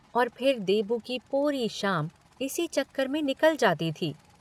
और फिर देबू की पूरी शाम इसी चक्कर में निकल जाती थी।